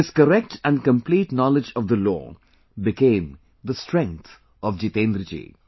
This correct and complete knowledge of the law became the strength of Jitendra ji